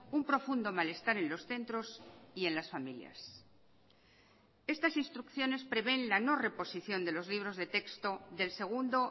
un profundo mal estar en los centros y en las familias estas instrucciones prevén la no reposición de los libros de texto del segundo